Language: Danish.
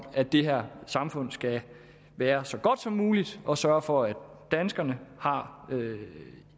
at det her samfund skal være så godt som muligt og sørge for at danskerne har